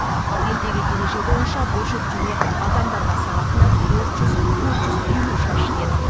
ал елдегі ереже бойынша бұл жүктеме адамдарға сағатына төрт жүз төрт жүз елу шаршы метр